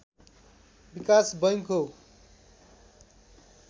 विकास बैँक हो